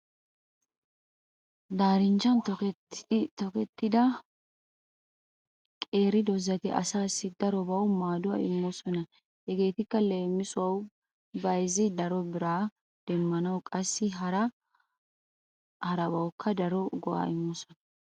Daarinchchan tokettida qeeri doozati asaassi darobawu maaduwa immoosona. Hegeetikka leemisuwawu bayzzi daro biraa demmanawu qassi hara harabwukka daro go'aa immoosona.